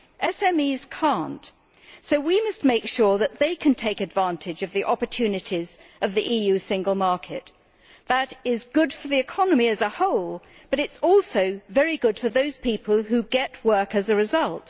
SMEs cannot, so we must make sure that they can take advantage of the opportunities provided by the EU single market. That is good for the economy as a whole, but it is also very good for those people who get work as a result.